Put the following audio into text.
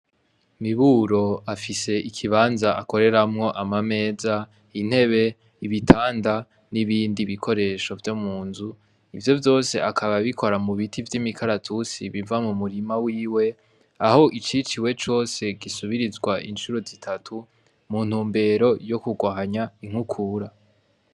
Miburo afise ikibanza akoreramwo amameza, intebe, ibitanda, n'ibindi bikoresho vyo mu nzu, ivyo vyose akaba abikora mu biti vy'imikaratusi biva mu murima wiwe, aho iciciwe cose gisubirizwa incuro zitatu mu ntumbero yo kurwanya inkukura.